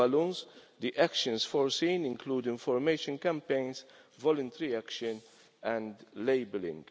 For balloons, the actions foreseen include information campaigns, voluntary action and labelling.